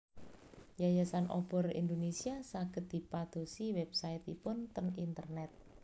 Yayasan Obor Indonesia saged dipadosi website ipun ten internet